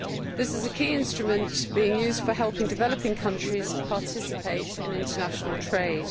This is a key instrument being used to help developing countries participate in international trade.